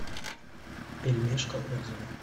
пельмешка отзывы